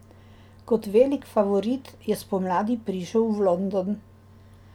Kot velik favorit je spomladi prišel v London.